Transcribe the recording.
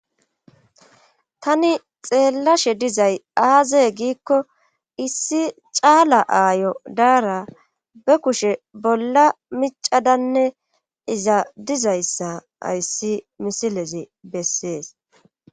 Tani xeellashe dizay aazee giikko issi caala aayo daara be kushe bolla micadanne iza dizayssa ayssi misilezi bessees.